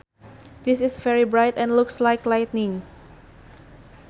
This is very bright and looks like lightning